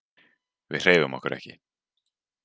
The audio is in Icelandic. Við hreyfum okkur ekki.